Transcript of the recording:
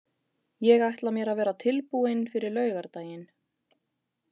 Ég ætla mér að vera tilbúinn fyrir laugardaginn.